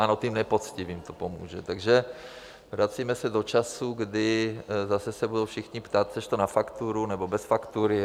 Ano, těm nepoctivým to pomůže, takže vracíme se do časů, kdy zase se budou všichni ptát: Chceš to na fakturu, nebo bez faktury?